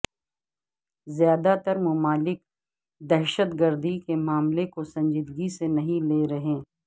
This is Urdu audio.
زیادہ تر ممالک دہشتگردی کے معاملے کو سنجیدگی سے نہیں لے رہے